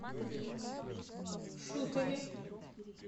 шутове